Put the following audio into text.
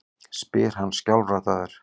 spyr hann skjálfraddaður.